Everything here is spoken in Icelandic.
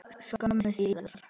skömmu síðar.